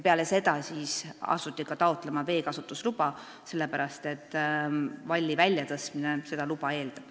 Peale seda asuti taotlema ka veekasutusluba, sellepärast et valli väljatõstmine eeldab luba.